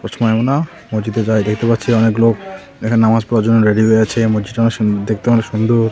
না। মসজিদের গায়ে দেখতে পাচ্ছি অনেক লোক খানে নামাজ পড়ার জন্য রেডি হয়ে আছে। এই মসজিদটা অনেক সুন দেখতে অনেক সুন্দর।